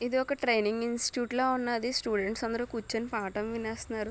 ఇది ఒక training institute లా ఉన్నది స్టూడెంట్స్ అందరు కూర్చొని పాఠం వినేస్నారు.